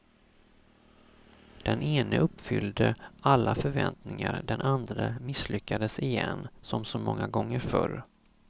Den ene uppfyllde alla förväntningar, den andre misslyckades igen, som så många gånger förr.